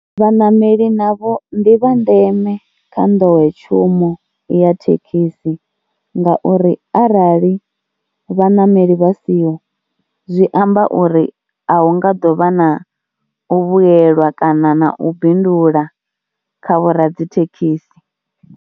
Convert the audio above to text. Vhaṋameli navho ndi vha ndeme kha nḓowetshumo ya thekhisi ngauri arali vhaṋameli vha siho zwi amba uri a hu nga ḓo vha na u vhuyelwa kana na u bindula kha vho radzithekhisi.